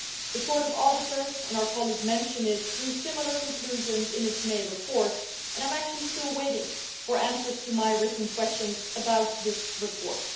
The Court of Auditors and our colleague mentioned this drew similar conclusions in its May report and I am actually still waiting for answers to my written questions about this report.